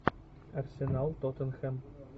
арсенал тоттенхэм